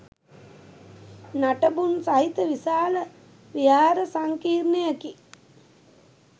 නටබුන් සහිත විශාල විහාර සංකීරණයකි.